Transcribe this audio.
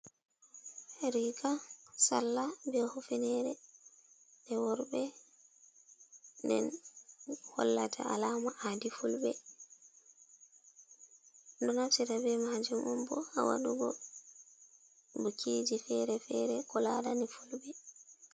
Riga sallah be hufenere je worɓe den hollata alama adi fulɓe, ɗo naftire be majum on bo ha waɗugo bukkiji ferefere ko larani fulbe.